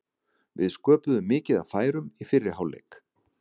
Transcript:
Við sköpuðum mikið af færum í fyrri hálfleik.